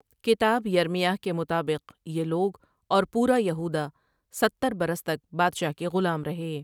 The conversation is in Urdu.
کتاب یرمیاہ کے مطابق یہ لوگ اور پورا یہوداہ ستر برس تک بادشاہ کے غلام رہے ۔